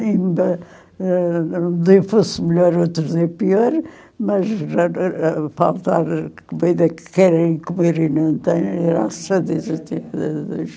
Ainda, ãh, um dia fosse melhor, outro dia pior, mas faltar comida que querem comer e não têm era